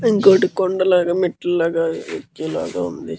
ఇంకోటి కొండ లాగా మెట్ల లాగా ఎక్కేలాగా ఉంది.